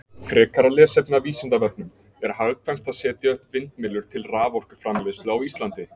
Frekara lesefni af Vísindavefnum: Er hagkvæmt að setja upp vindmyllur til raforkuframleiðslu á Íslandi?